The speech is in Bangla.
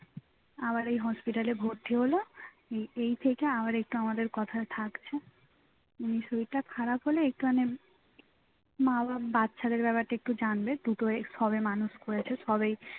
আবার এই hospital ভর্তি হোল এ~ এই থেকে আবার একটু আমাদের কথায় থাকছে এমনি শরীরটা খারাপ হলে একটু মানে মা আবার বাচ্চাদের ব্যাপারটা একটু জানবে দুটো সবে মানুষ করেছে সবেই